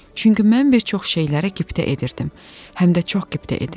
Çünki mən bir çox şeylərə qibtə edirdim, həm də çox qibtə edirdim.